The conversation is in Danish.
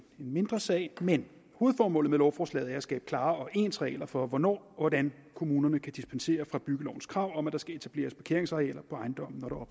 mindre sag men hovedformålet med lovforslaget er at skabe klare og ens regler for hvornår og hvordan kommunerne kan dispensere fra byggelovens krav om at der skal etableres parkeringsarealer på ejendommen når